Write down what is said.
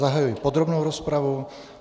Zahajuji podrobnou rozpravu.